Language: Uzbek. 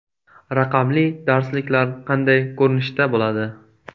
Raqamli darsliklar qanday ko‘rinishda bo‘ladi?